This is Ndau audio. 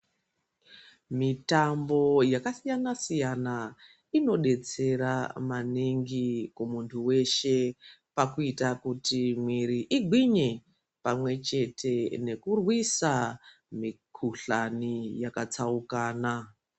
Mitambo yakasiyana siyana inodetsera maningi kumuntu weshe pakuita kuti mwiri igwinye pamwechete nekurwisa mikuhlani yakatsaukana.